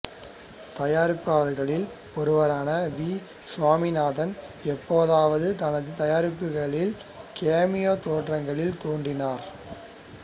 தயாரிப்பாளர்களில் ஒருவரான வி சுவாமிநாதன் எப்போதாவது தனது தயாரிப்புகளில் கேமியோ தோற்றங்களில் தோன்றினார்